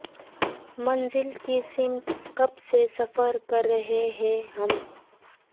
منزل کی سمت کب سے سفر کر رہے ہیں ہم